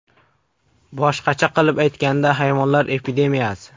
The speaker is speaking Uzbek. Boshqacha qilib aytganda, hayvonlar epidemiyasi.